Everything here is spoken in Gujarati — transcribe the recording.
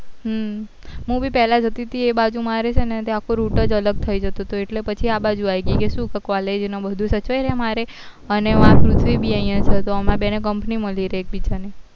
હ મુ બી પેહલા જતી હતી એ બાજુ મારે છે ને આખું route જ અલગ થઇ જતો હતો એટલે પછી આ બાજુ આવી ગયી કે શું college ને બધું સચવાઈ રે મારે અને અહિયાં છે તો અમાર બેને company મળી રહે એક બીજા ને